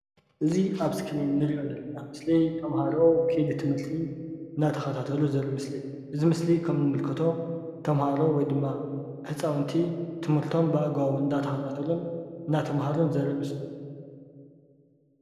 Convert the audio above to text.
እዚ ኣብ እስክሪን ንሪኦ ዘለና ምስሊ ተምህሮ ከይዲ ትምርቲ እናተኸታተሉ ዝርኢ ምስሊ እዩ። እዚ ምስሊ ከም ንምልከቶ ተምህሮ ወይ ድማ ህፃዉንቲ ትምርቶም ብኣግባቡ እናተኸታተሉን እናተምሃሩን ዘርኢ ምስሊ እዩ።